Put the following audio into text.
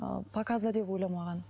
ыыы показда деп ойламаған